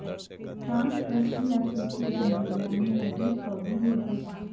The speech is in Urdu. فرانس وسطی افریقی جمہوریہ میں مزید فوجی بھیجے گا